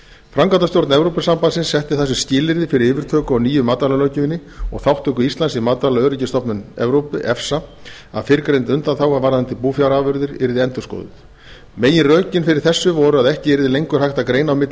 framkvæmdastjórn evrópusambandsins setti það sem skilyrði fyrir yfirtöku á nýju matvælalöggjöfinni og þátttöku íslands í matvælaöryggisstofnun evrópu að fyrrgreind undanþága varðandi búfjárafurðir yrði endurskoðuð meginrökin fyrir þessu voru að ekki yrði lengur hægt að greina á milli